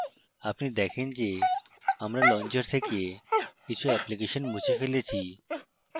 আপনি দেখনে যে আমি launcher থেকে কিছু অ্যাপ্লিকেশন মুছে ফেলেছি